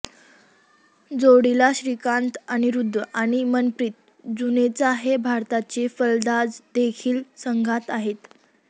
जोडीला श्रीकांत अनिरुद्ध आणि मनप्रित जुनेजा हे भारताचे फलंदाजदेखील संघात आहेत